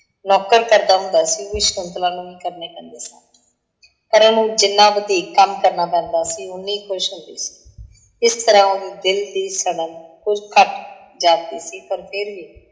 ਨੌਕਰ ਕਰਦਾ ਹੁੰਦਾ ਸੀ ਉਹ ਵੀ ਸ਼ਕੁੰਤਲਾ ਨੂੰ ਹੀ ਕਰਨੇ ਪੈਂਦੇ ਸਨ। ਪਰ ਉਹਨੂੰ ਜਿੰਨਾ ਵਧੀਕ ਕੰਮ ਕਰਨਾ ਪੈਂਦਾ ਸੀ ਉਹ ਉੰਨੀ ਹੀ ਖੁਸ਼ ਹੁੰਦੀ ਸੀ। ਇਸ ਤਰ੍ਹਾਂ ਉਹਦੇ ਦਿੱਲ ਦੀ ਸੜਨ ਕੁੱਝ ਘੱਟ ਜਾਂਦੀ ਸੀ ਪਰ ਫਿਰ ਵੀ,